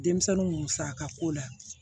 Denmisɛnninw musaka ko la